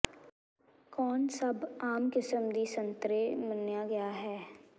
ਕੌਣ ਸਭ ਆਮ ਕਿਸਮ ਦੀ ਸੰਤਰੇ ਮੰਨਿਆ ਗਿਆ ਹੈ